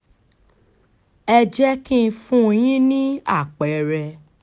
ẹ jẹ́ kí n fún yín ní àpẹẹrẹ